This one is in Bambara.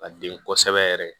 Ka den kosɛbɛ yɛrɛ